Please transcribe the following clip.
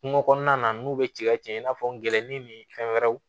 Kungo kɔnɔna na n'u bɛ ci ka tiɲɛ i n'a fɔ n gɛlɛnni ni fɛn wɛrɛw